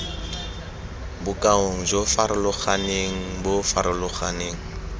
bokaong jo farologaneng bo farologaneng